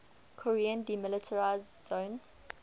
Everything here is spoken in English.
korean demilitarized zone